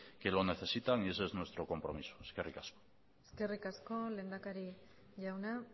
que lo necesitan y ese es nuestro compromiso eskerrik asko eskerrik asko lehendakari jauna